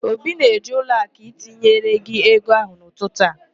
Obi na-eje ụlọakụ itinyere gị ego ahụ n'ụtụtụ a.